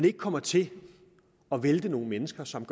ikke kommer til at vælte nogle mennesker som